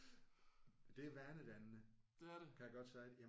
Det er vanedannende kan jeg godt sige